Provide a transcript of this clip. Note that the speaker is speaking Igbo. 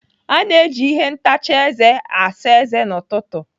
A na-eji ihe ntacha eze asa eze n'ụtụtụ.